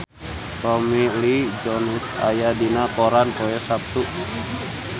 Tommy Lee Jones aya dina koran poe Saptu